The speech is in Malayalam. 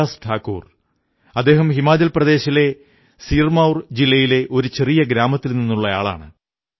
വികാസ് ഠാകുർ അദ്ദേഹം ഹിമാചലിലെ സിർമൌർ ജില്ലയിലെ ഒരു ചെറിയ ഗ്രാമത്തിൽ നിന്നുള്ളയാളാണ്